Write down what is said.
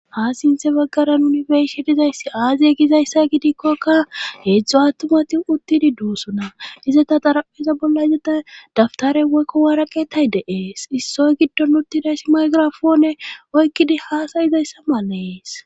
Ha sinthe baggaran uni beshe dizayssi aaziye gizayssa gidikkokka heedzdzo attumati uttidi duusuna izeta xarapheza bolla zeta daftare woykko waaraqetay deees issoy giddon uttidayssi maygirafoone oykkidi haasayizayssa malees.